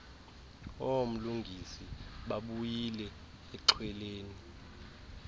oomlungisi babuyile exhweleni